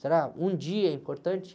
Será um dia é importante?